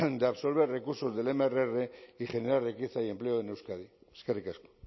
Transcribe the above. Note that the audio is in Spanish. de absorber recursos del mrr y generar riqueza y empleo en euskadi eskerrik asko